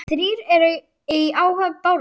Þrír eru í áhöfn Bárðar.